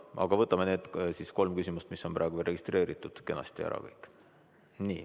Aga võtame need kolm küsimust, mis on praegu registreeritud, kenasti ära kõik.